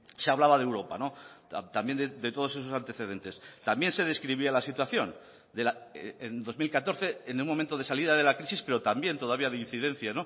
se hablaba de europa también de todos esos antecedentes también se describía la situación en dos mil catorce en un momento de salida de la crisis pero también todavía de incidencia